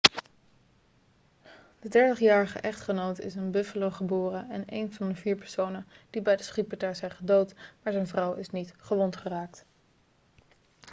de 30-jarige echtgenoot is in buffalo geboren en een van de vier personen die bij de schietpartij zijn gedood maar zijn vrouw is niet gewond geraakt